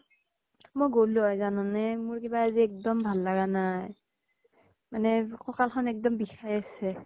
মই গলো হৈ জানানে, মোৰ কিবা আজি এল্দম ভাল লাগা নাই। মানে কঁকাল খন এক্দম বিষাই আছে।